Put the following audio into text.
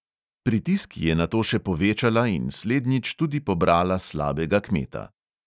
Pritisk je nato še povečala in slednjič tudi pobrala slabega kmeta.